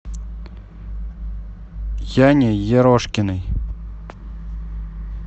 яне ерошкиной